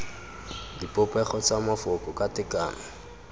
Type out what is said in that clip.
dipopego tsa mafoko ka tekano